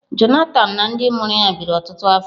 Johnathan na ndị mụrụ ya biri ọtụtụ afọ.